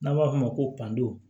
N'a b'a f'o ma ko panto